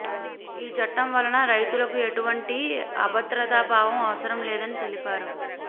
ఈ చట్టం వలన రైతులకు ఎటువంటి అభద్రతాభావం అవసరం లేదని తెలిపారు